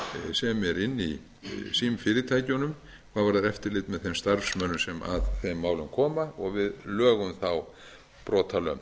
sem er inni í símfyrirtækjunum hvað varðar eftirlit með þeim starfsmönnum sem að þeim málum koma og við lögum þá brotalöm